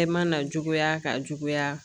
E ma na juguya ka juguya